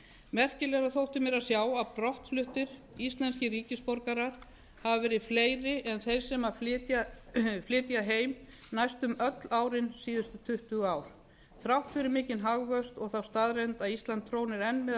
merkilegra þótti mér að sjá að brottfluttir íslenskir ríkisborgarar hafi verið fleiri en þeir sem flytja heim næstum öll árin síðustu tuttugu ár þrátt fyrir mikinn hagvöxt og þá staðreynd að ísland trónir enn meðal